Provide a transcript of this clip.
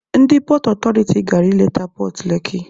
Ndị pọọt ọtọriti gara ịleta pọọt Leki.